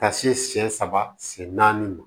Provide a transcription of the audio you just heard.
Ka se sen saba sen naani ma